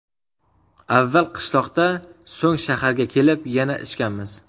Avval qishloqda, so‘ng shaharga kelib yana ichganmiz.